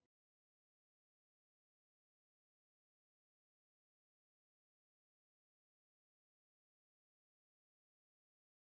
Líkaminn þarf á orku úr kolvetnum, fitu og próteinum að halda í dagsins önn.